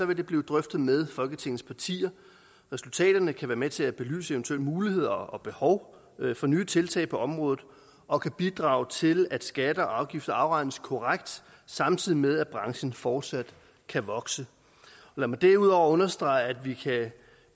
vil det blive drøftet med folketingets partier resultaterne kan være med til at belyse eventuelle muligheder og behov for nye tiltag på området og kan bidrage til at skatter og afgifter afregnes korrekt samtidig med at branchen fortsat kan vokse lad mig derudover understrege at vi